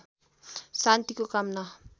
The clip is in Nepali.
शान्तिको कामना